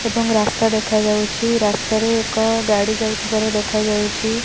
ଏବଂ ରାସ୍ତା ଦେଖାଯାଉଚି ରାସ୍ତା ରେ ଏକ ଗାଡି ଯାଉଥିବାର ଦେଖାଯାଉଚି।